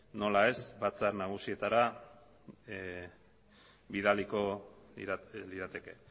nola ez batzar nagusietara bidaliko lirateke